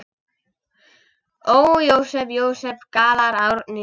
Ó, Jósep, Jósep, galar Árný.